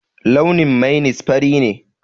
Launin mainis fari ne